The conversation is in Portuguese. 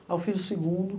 Aí eu fiz o segundo.